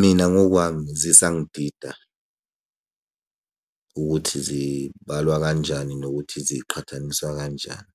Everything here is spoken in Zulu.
Mina ngokwami zisangidida, ukuthi zibalwa kanjani nokuthi ziqhathaniswa kanjani.